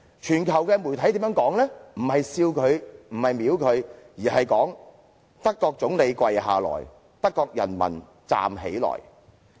全球媒體沒有藐視他，也沒有嘲笑他，而是寫"德國總理跪下去，德國人民站起來"。